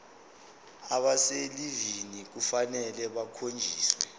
abaselivini kufanele bakhonjiswe